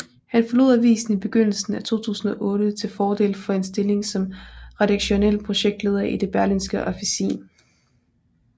Han forlod avisen i begyndelsen af 2008 til fordel for en stilling som redaktionel projektleder i Det Berlingske Officin